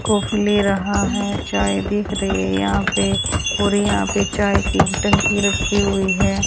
Coffee ले रहा है चाय देख रहे हैं यहां पे पूरी यहां पे चाय की टंकी रखी हुईं हैं।